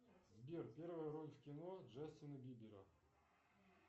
сбер первая роль в кино джастина бибера